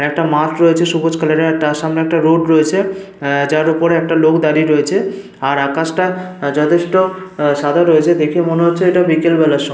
একটা মাঠ রয়েছে সবুজ কালার এর আর তার সামনে একটা রোড রয়েছে। আহ যার ওপরে একটা লোক দাঁড়িয়ে রয়েছে। আর আকাশটা যথেষ্ট সাদা রয়েছে। দেখেই মনে হচ্ছে এটা বিকেল বেলার সম--